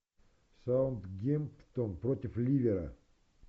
саутгемптон против ливера